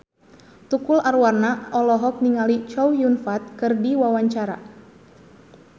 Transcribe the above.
Tukul Arwana olohok ningali Chow Yun Fat keur diwawancara